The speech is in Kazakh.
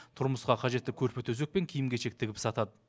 тұрмысқа қажетті көрпе төсек пен киім кешек тігіп сатады